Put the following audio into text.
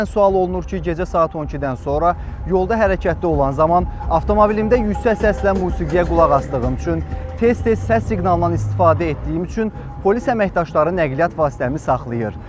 Bəzən sual olunur ki, gecə saat 12-dən sonra yolda hərəkətdə olan zaman avtomobilimdə yüksək səslə musiqiyə qulaq asdığım üçün, tez-tez səs siqnalından istifadə etdiyim üçün polis əməkdaşları nəqliyyat vasitəmi saxlayır.